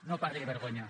no parli de vergonya